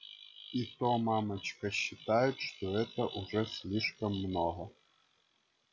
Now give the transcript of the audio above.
и то мамочка считает что это уже слишком много